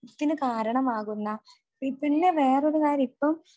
ത്തിന് കാരണമാകുന്ന പിന്നെ വേറൊരു കാര്യം ഇപ്പം